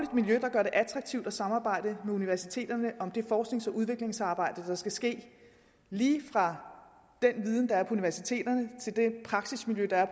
gør det attraktivt at samarbejde med universiteterne om det forsknings og udviklingsarbejde der skal ske lige fra den viden der er på universiteterne til det praksismiljø der er